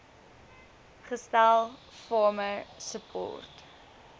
gestel farmer support